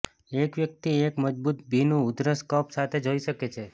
એક વ્યક્તિ એક મજબૂત ભીનું ઉધરસ કફ સાથે જોઇ શકે છે